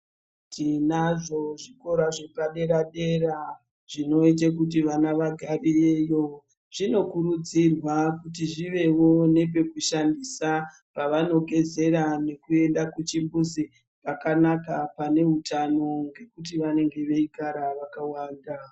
Tinazvo zvikora zvepadera dera zvinoita kuti vana vagarireyo zvinokurudzirwa kuti zviwewo nepekushandisa zvinoita kuti vana vagarireyo zvinokurudzirwa kuti vawe nepekushandisa pawanogezera nepekuenda kuchimbuzi pakanaka pane hutano ngekuti vanenge weigara wakawanda.